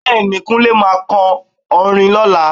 Bẹ́ẹ̀ni, Kunle máa kọ orin ní ọ̀la?